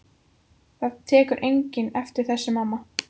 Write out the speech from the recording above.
Það tekur enginn eftir þessu, mamma.